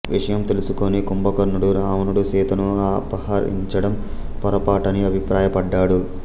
విషయం తెలుసుకొని కుంభకర్ణుడు రావణుడు సీతను అపహరిండం పొరపాటని అభిప్రాయపడ్డాడు